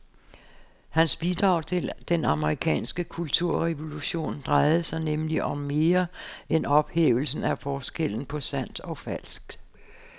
Hans bidrag til den amerikanske kulturrevolution drejede sig nemlig om mere end ophævelsen af forskellen på sandt og falsk.